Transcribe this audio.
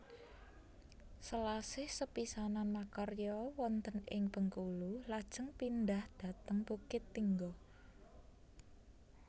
Selasih sepisanan makarya wonten ing Bengkulu lajeng pindhah dhateng Bukittinggo